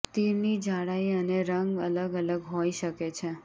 તીરની જાડાઈ અને રંગ અલગ અલગ હોઈ શકે છે